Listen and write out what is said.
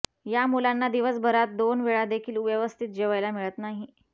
या मुलांना दिवसभरात दोन वेळा देखील व्यवस्थित जेवायला मिळत नाही